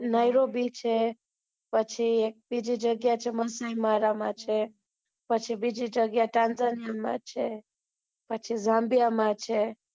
Nairobi છે. પછી બીજી જગ્યા મસીમારા માં છે, પછી દર્દારનાર માં છે, પછી ઝામ્બિયા માં છે